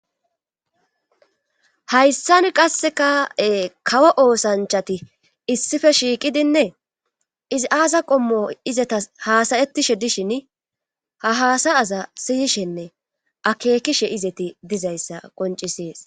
Hayssan qasse ka7e kawo oosanchati issife shiiqidinne izi aasa qommo izata haasayetishe dishin ha haasayaza siyishenne akeekishe izeti dizayssa qoncisees.